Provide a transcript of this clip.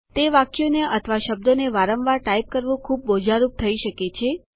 તે વાક્યોને અથવા શબ્દોને વારંવાર ટાઈપ કરવું બોજારૂપ થઇ શકે છે